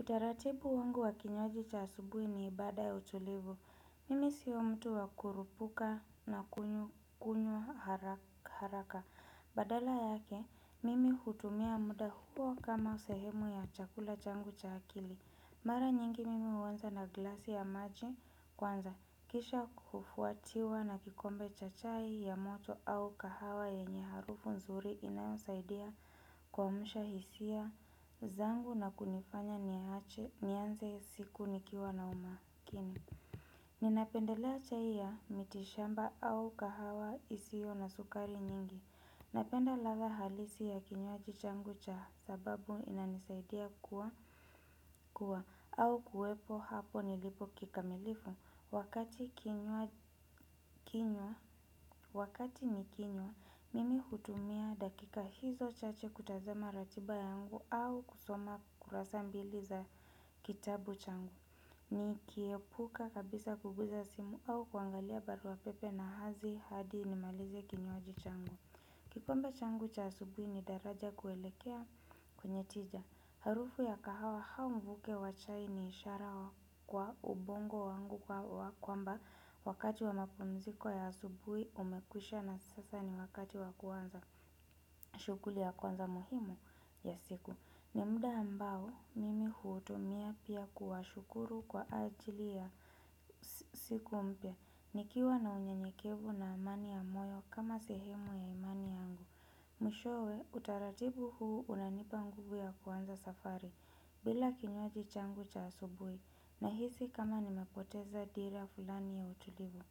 Utaratibu wangu wa kinywaji cha asubuhi ni ibada ya utulivu. Mimi sio mtu wa kukurupuka na kunywa haraka. Badala yake, mimi hutumia muda huo kama sehemu ya chakula changu cha akili. Mara nyingi mimi huanza na glasi ya maji kwanza kisha kufuatiwa na kikombe cha chai ya moto au kahawa yenye harufu nzuri inayosaidia kuamsha hisia zangu na kunifanya niache nianze siku nikiwa na umakini. Ninapendelea chai ya mitishamba au kahawa isiyo na sukari nyingi. Napenda ladha halisi ya kinywaji changu cha sababu inanisaidia kuwa kuwa au kuwepo hapo nilipo kikamilifu wakati kinywa. Wakati nikinywa mimi hutumia dakika hizo chache kutazama ratiba yangu au kusoma kurasa mbili za kitabu changu. Nikiepuka kabisa kugusa simu au kuangalia baruapepe na hazi hadi nimalize kinywaji changu kikombe changu cha asubuhi ni daraja kuelekea kwenye tija. Harufu ya kahawa au mvuke wa chai ni ishara kwa ubongo wangu kwamba wakati wa mapumziko ya asubuhi umekwisha na sasa ni wakati wa kuanza shughuli ya kwanza muhimu ya siku. Ni muda ambao, mimi huutumia pia kuwashukuru kwa ajili ya siku mpya. Nikiwa na unyenyekevu na amani ya moyo kama sehemu ya imani yangu. Mwishowe, utaratibu huu unanipa nguvu ya kuanza safari, bila kinywaji changu cha asubuhi, nahisi kama nimepoteza dira fulani ya utulivu.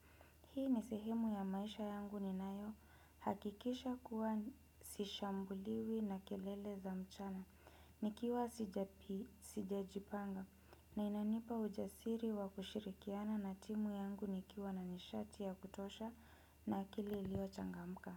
Hii ni sehemu ya maisha yangu ninayo, hakikisha kuwa sishambuliwi na kelele za mchana. Nikiwa sijajipanga na inanipa ujasiri wa kushirikiana na timu yangu nikiwa na nishati ya kutosha na akili iliyochangamka.